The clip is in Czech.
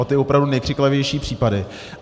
O ty opravdu nejkřiklavější případy.